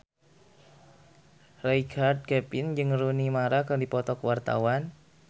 Richard Kevin jeung Rooney Mara keur dipoto ku wartawan